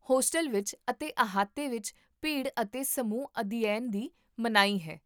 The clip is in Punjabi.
ਹੋਸਟਲ ਵਿੱਚ ਅਤੇ ਅਹਾਤੇ ਵਿੱਚ, ਭੀੜ ਅਤੇ ਸਮੂਹ ਅਧਿਐਨ ਦੀ ਮਨਾਹੀ ਹੈ